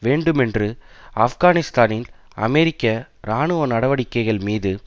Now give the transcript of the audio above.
வேண்டுமென்று ஆப்கானிஸ்தானில் அமெரிக்க இராணுவ நடவடிக்கைகள் மீது